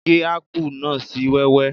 Gé ápù náà sì wẹ́wẹ́